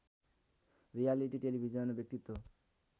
reality television व्यक्तित्व